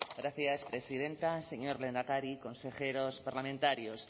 gracias presidenta señor lehendakari consejeros parlamentarios